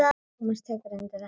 Tómas tekur undir þetta.